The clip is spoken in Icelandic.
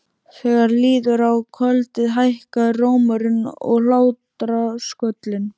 Þegar líður á kvöldið hækkar rómurinn og hlátrasköllin.